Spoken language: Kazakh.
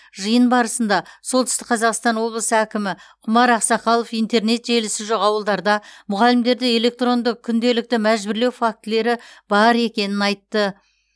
жиын барысында солтүстік қазақстан облысы әкімі құмар ақсақалов интернет желісі жоқ ауылдарда мұғалімдерді электронды күнделікті мәжбүрлеу фактілері бар екенін айтты